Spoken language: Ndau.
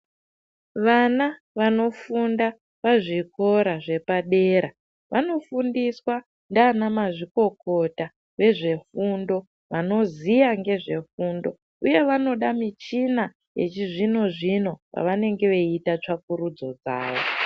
Vana vanofunda pazvikora zvepadera vanofundiswa ndianamazvikokota vezvefundo vanoziya nezvefundo uye vanoda michina yechizvino zvino pavanenge veita tsvakurudzo dzawo.